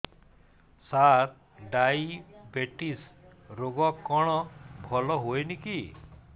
ସାର diabetes ରୋଗ କଣ ଭଲ ହୁଏନି କି